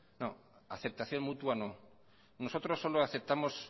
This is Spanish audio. no aceptación mutua no nosotros solo aceptamos